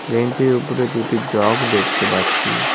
Bench -এর ওপরে দুটি জগ দেখতে পাচ্ছি।